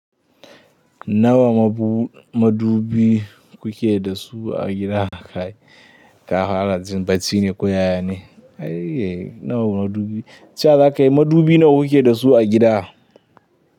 Nawa madubi kuke da su a gida? Ka fara jin bacine ko ya ne? E, nawa madubi? Ce wa za ka yi madubi nawa kuke da su a gida?